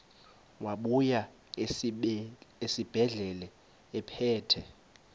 wabuya esibedlela ephethe